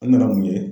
An nana mun ye